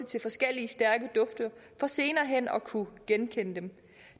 til forskellige stærke dufte for senere hen at kunne genkende dem